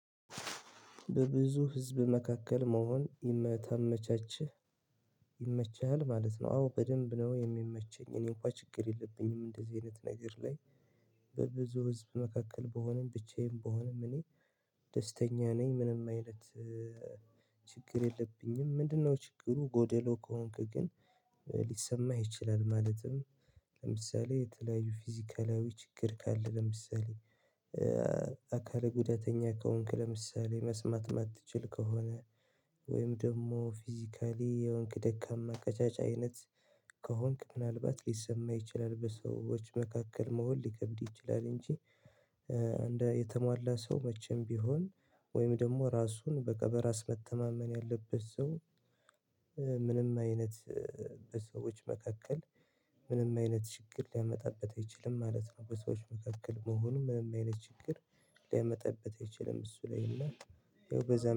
"በብዙ ህዝብ መካከል መሆን ይመታመቻችህ?" ይመችሃል ማለት ነው። አዎ በደንብ ነው የሚመቸኝ። እኔ እንኳን ችግር የለብኝም፤ እንደዚህ አይነት ነገር ላይ። በብዙ ህዝብ መካከል ብሆንም፣ ብቻዬን ብሆንም፣ እኔ ደስተኛ ነኝ ምንም አይነት ችግር የለብኝም፣ ምንድነው ችግሩ ጎደሎ ከሆንክ ግን ሊሰማህ ይችላል። ማለትም፣ ለምሳሌ፣ የተለያዩ ፊዚካላዊ ችግር ካለ፣ ለምሳሌ አካለ ጉዳተኛ ከሆንክ፣ ለምሳሌ መስማት የማትችል ከሆነ፣ ወይም ደግሞ ፊዚካሊ የሆንክ ደካማ፣ ቀጫጫ አይነት ከሆንክ ምናልባት ሊሰማ ይችላል፤ በሰዎች መካከል መሆን ሊከብድህ ይችላል። እንጂ፣ እንደ የተሟላ ሰው መቼም ቢሆን፣ ወይም ደግሞ ራሱን በቃ በራስ መተማመን ያለበት ሰው ምንም አይነት፣ በሰዎች መካከል ምንም አይነት ችግር ሊያመጣበት አይችልም ማለት ነው። በሰዎች መካከል መሆኑ ምንም አይነት ችግር ሊያመጣበት አይችልም። እሱ ላይ እና ያው በዛ